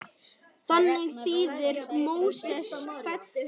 Þannig þýðir Móses fæddur.